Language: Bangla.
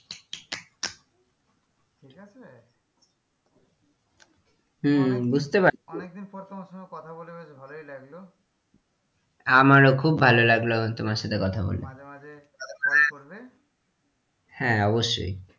ঠিক আছে? হম হম বুঝতে পারছি অনেকদিন পর তোমার সঙ্গে কথা বলে বেশ ভালোই লাগলো আমারও খুব ভালো লাগলো তোমার সঙ্গে কথা বলে মাঝে মাঝে call করবে হ্যাঁ অবশ্যই।